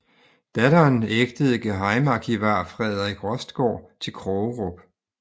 Datteren ægtede gehejmearkivar Frederik Rostgaard til Krogerup